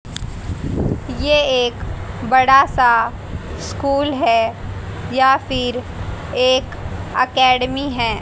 ये एक बड़ा सा स्कूल है या फिर एक अकेडमी है।